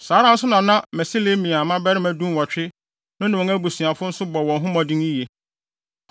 Saa ara nso na na Meselemia mmabarima dunwɔtwe (18) no ne wɔn abusuafo nso bɔ wɔn ho mmɔden yiye.